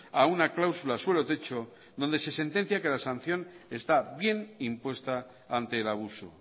a una cláusula suelo techo donde se sentencia que la sanción está bien impuesta ante el abuso